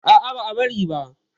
A'a, ba a bari.